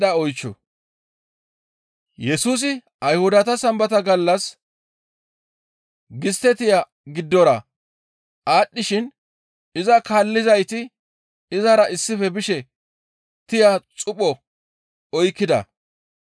Yesusi Ayhudata Sambata gallas gistte tiya giddora aadhdhishin iza kaallizayti izara issife bishe tiya xupho oykkida.